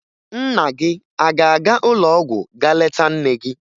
Nna gị a ga-aga ụlọọgwụ ga leta nne gị?